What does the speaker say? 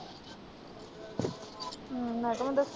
ਮੈਂ ਕਿਹਾ ਮੈਂ ਦੱਸ।